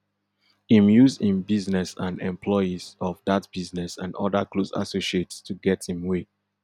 im use im business and employees of dat business and oda close associates to get im way